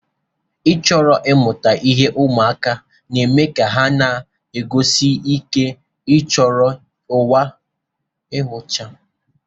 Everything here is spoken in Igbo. Ịchọro ịmuta ihe ụmụaka na-eme ka ha na-achọsi ike inyocha ụwa gbara ha gburugburu.